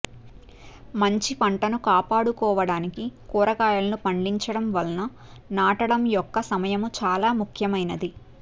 మంచి పంటను కాపాడుకోవడానికి కూరగాయలను పండించడం వలన నాటడం యొక్క సమయము చాలా ముఖ్యమైనది